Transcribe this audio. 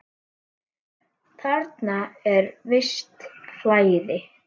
Þarna er visst flæði.